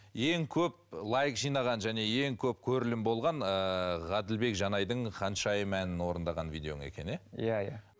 ең көп лайк жинаған және ең көп көрілім болған ыыы ғаділбек жанайдың ханшайым әнін орындаған видеоң екен иә иә иә